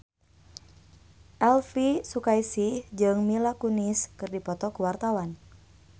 Elvy Sukaesih jeung Mila Kunis keur dipoto ku wartawan